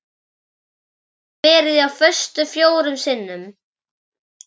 Ég hef verið á föstu fjórum sinnum.